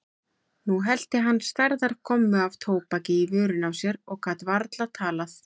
Nú hellti hann stærðar gommu af tóbaki í vörina á sér og gat varla talað.